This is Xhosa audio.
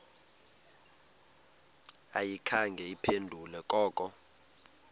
ayikhange iphendule koko